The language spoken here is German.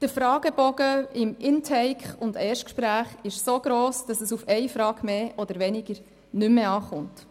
Der Fragebogen beim Intake und beim Erstgespräch ist so lang, dass es auf eine Frage mehr oder weniger nicht mehr ankommt.